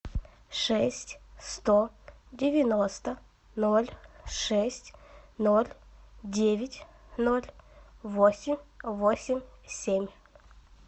шесть сто девяносто ноль шесть ноль девять ноль восемь восемь семь